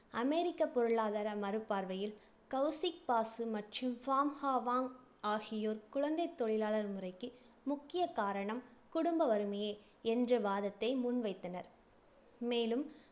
அமெரிக்க பொருளாதார மறுபார்வையில் கவுசிக் பாசு மற்றும் பாம் ஹோவாங் வாங்க் ஆகியோர், குழந்தைத் தொழிலாளர் முறைக்கு முக்கியக் காரணம் குடும்ப வறுமையே என்ற வாதத்தை முன்வைத்தனர். மேலும்